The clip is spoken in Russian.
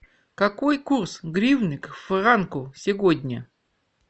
какой курс гривны к франку сегодня